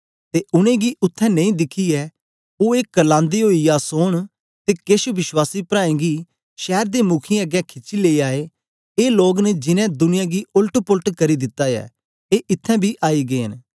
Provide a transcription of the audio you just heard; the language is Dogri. ते उनेंगी उत्थें नेई दिखियै ओ ए करलांदे ओई यासोन ते केछ विश्वासी प्राऐं गी शैर दे मुखीयें अगें खिची लेई आए ए लोग न जिनैं दुनिया गी ओलट पोलट करी दिता ऐ ए इत्थैं बी आई गै न